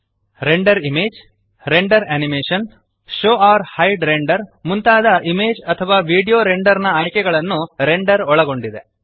render image render animation show or hide render ಮುಂತಾದ image ಅಥವಾ video render ನ ಆಯ್ಕೆಗಳನ್ನು ರೆಂಡರ್ ಒಳಗೊಂಡಿದೆ